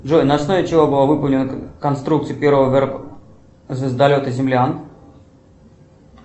джой на основе чего была выполнена конструкция первого звездолета землян